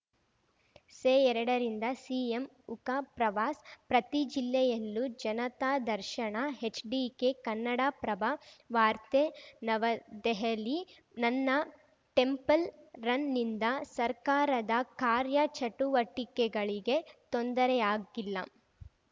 ಸೆಎರಡರಿಂದ CM ಉಕ ಪ್ರವಾಸ ಪ್ರತಿ ಜಿಲ್ಲೆಯಲ್ಲೂ ಜನತಾದರ್ಶನ ಹೆಚ್‌ಡಿಕೆ ಕನ್ನಡಪ್ರಭ ವಾರ್ತೆ ನವದೆಹಲಿ ನನ್ನ ಟೆಂಪಲ್‌ ರನ್‌ನಿಂದ ಸರ್ಕಾರದ ಕಾರ್ಯ ಚಟುವಟಿಕೆಗಳಿಗೆ ತೊಂದರೆಯಾಗಿಲ್ಲ